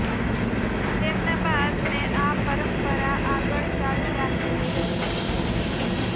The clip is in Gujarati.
તેમના બાદ મેં આ પરંપરા આગળ ચાલુ રાખી છે